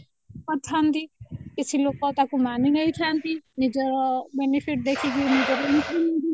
ପଠାନ୍ତି କିଛି ଲୋକ ତାକୁ ମାନିନେଇଥାନ୍ତି ନିଜର benefit ଦେଖିକି ନିଜର increment ଦେଖିକି